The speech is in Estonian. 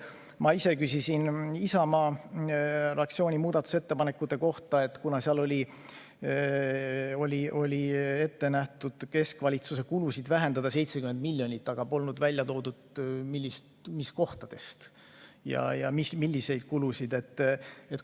Ma küsisin Isamaa fraktsiooni muudatusettepanekute kohta, kuna seal oli ette nähtud keskvalitsuse kulusid vähendada 70 miljonit, aga polnud välja toodud, milliseid kulusid nimelt.